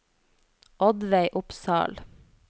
Oddveig Opsahl